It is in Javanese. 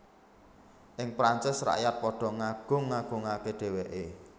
Ing Prancis rakyat padha ngagung agungaké dhèwèké